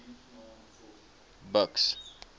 buks